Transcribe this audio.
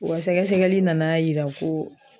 O ga sɛgɛsɛgɛli nana yira ko